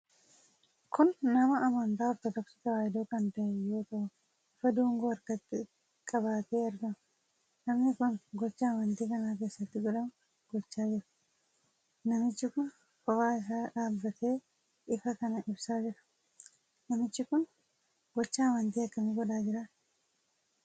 Kun nama amantaa Ortodoksii Tewaayidoo kan ta'e yoo ta'u, ifaa dungoo harkatti qabatee argama. Namni kun gochaa amantii kana keessatti godhamu gochaa jira. Namichi kun kophaa isaa dhaabatee ifaa kana ibsaa jira. Namichi kun gocha amantii akkamii godhaa jira?